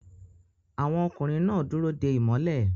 Àwọn ọkùnrin náà dúró de ìmọ́lẹ̀